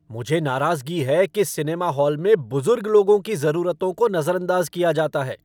मुझे नाराजगी है कि सिनेमा हॉल में बुजुर्ग लोगों की जरूरतों को नजरअंदाज किया जाता है।